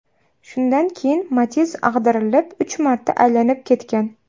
Shundan keyin Matiz ag‘darilib, uch marta aylanib ketgan.